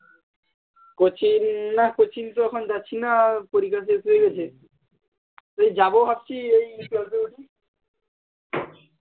coaching নাহ coaching তো এখন যাচ্ছিনা পরীক্ষা শেষ হয়ে গেছে এই যাবো ভাবছি এই ফেব্রুয়ারি তে